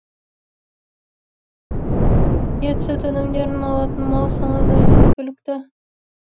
ет сүт өнімдерін алатын мал саны да жеткілікті